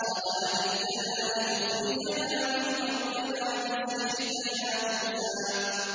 قَالَ أَجِئْتَنَا لِتُخْرِجَنَا مِنْ أَرْضِنَا بِسِحْرِكَ يَا مُوسَىٰ